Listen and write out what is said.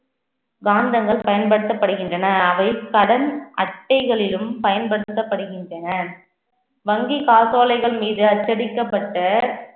காந்தங்கள் பயன்படுத்தப்படுகின்றன அவை கடன் அட்டைகளிலும் பயன்படுத்தப்படுகின்றன வங்கி காசோலைகள் மீது அச்சடிக்கப்பட்ட